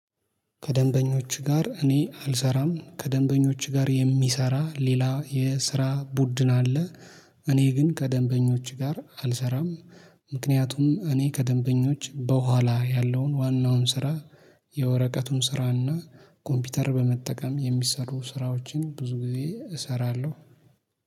ከደንበኞች ጋር እኔ አልሰራም ከደንበኞች ጋር የሚሰራ ሌላ የስራ ቡድን አለ። እኔ ግን ከደንበኞች ጋር አልሰራም። ምክንያቱም እኔ ከደንበኞች በኋላ ያለውን ዋናውን ስራ የወረቀቱን ስራና ኮምፒውተር በመጠቀም የሚሰሩ ስራዎችን ብዙ ጊዜ እሰራለሁ